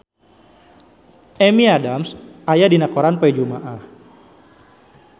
Amy Adams aya dina koran poe Jumaah